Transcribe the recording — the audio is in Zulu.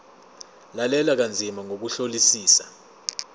lalela kanzima ngokuhlolisisa